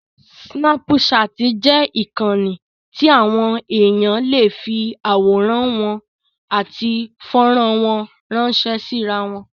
Sínápùṣaàtì jẹ́ ìkànnì tí àwọn èèyàn lè fi àwọ̀rán wọn àti fọ́rán wọn ránṣẹ́ sí irawọn.